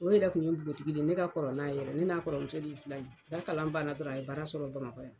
O yɛrɛ Kun ye npogotigi de ye ne ka kɔrɔ n'a ye yɛrɛ, ne n'a kɔrɔmuso de ye filan ye, a ka kalan banna dɔrɔn a ye baara sɔrɔ Bamakɔ yan.